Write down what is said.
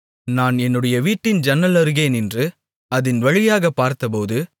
நான் என்னுடைய வீட்டின் ஜன்னல் அருகே நின்று அதின் வழியாகப் பார்த்தபோது